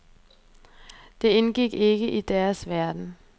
Det indgik ikke i deres verden.